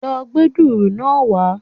Lo gbé dùrù náá wá